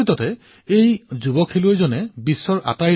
আমাৰ পূৰ্বজসকলৰ চিন্তাধাৰা সঁচাকৈয়ে প্ৰশংসনীয় আছিল